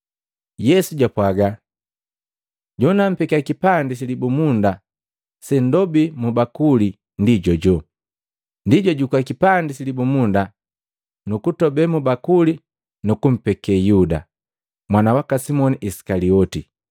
Yesu jwapwaga, “Jonampekia kipandi silibumunda sendobi mubakuli, ndi jojoju.” Ndi, jwajukua kipandi silibumunda, nukutobe mu bakuli, nukumpeke Yuda, mwana waka Simoni Isikalioti.